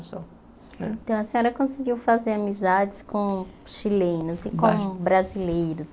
A senhora conseguiu fazer amizades com chilenos e com brasileiros?